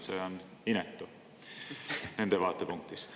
See on inetu nende vaatepunktist.